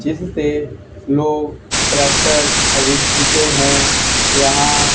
जिससे लोग ट्रैक्टर खरीदते हैं यहां--